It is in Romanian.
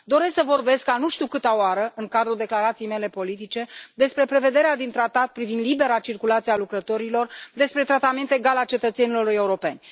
Doresc să vorbesc, a nu știu câta oară, în cadrul declarației mele politice, despre prevederea din tratat privind libera circulație a lucrătorilor, despre tratamentul egal al cetățenilor europeni.